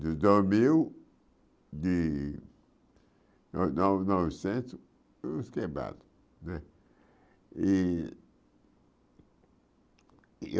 Dois mil, de nove nove novecentos e uns quebrados né. E